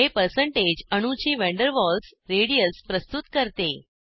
हे पर्सेंटेज अणूची van der Waals radius प्रस्तुत करते